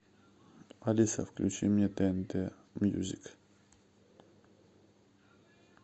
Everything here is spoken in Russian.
алиса включи мне тнт мьюзик